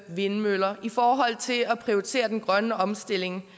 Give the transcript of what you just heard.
vindmøller i forhold til at prioritere den grønne omstilling